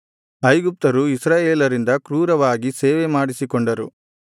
ಐಗುಪ್ತರು ಇಸ್ರಾಯೇಲರಿಂದ ಕ್ರೂರವಾಗಿ ಸೇವೆಮಾಡಿಸಿಕೊಂಡರು